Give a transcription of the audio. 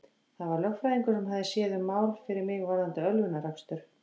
Það var lögfræðingur sem hafði séð um mál fyrir mig varðandi ölvunarakstur.